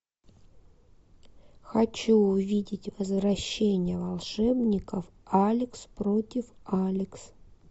хочу увидеть возвращение волшебников алекс против алекс